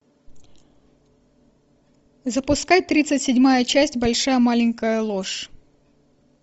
запускай тридцать седьмая часть большая маленькая ложь